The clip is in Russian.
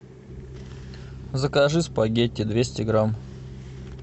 закажи спагетти двести грамм